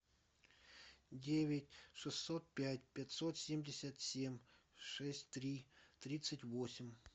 девять шестьсот пять пятьсот семьдесят семь шесть три тридцать восемь